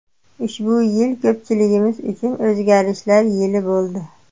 Ushbu yil ko‘pchiligimiz uchun o‘zgarishlar yili bo‘ldi.